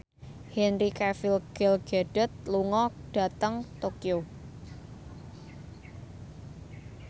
Henry Cavill Gal Gadot lunga dhateng Tokyo